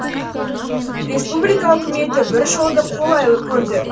республика үкіметі бір жолды қолайлы көрді